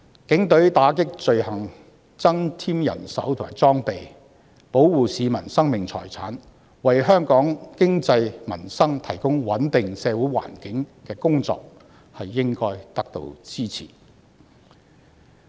警隊為打擊罪行增添人手和裝備，保護市民的生命財產，為香港經濟及民生提供穩定的社會環境的工作，應該得到支持。